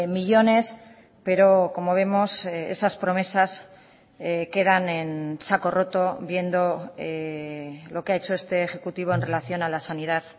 millónes pero como vemos esas promesas quedan en saco roto viendo lo que ha hecho este ejecutivo en relación a la sanidad